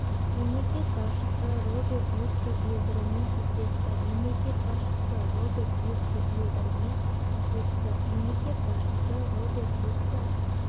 мемлекет басшысы роберт юксел йылдырыммен кездесті мемлекет басшысы роберт юксел йылдырыммен кездесті мемлекет басшысы роберт юксел